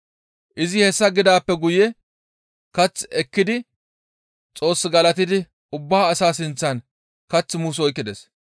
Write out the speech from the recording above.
Izi hessa gidaappe guye kath ekkidi Xoos galatidi ubba asaa sinththan kath muus oykkides.